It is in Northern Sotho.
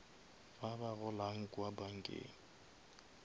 ba ba golang kua bankeng